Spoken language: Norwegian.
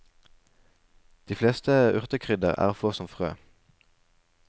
De fleste urtekrydder er å få som frø.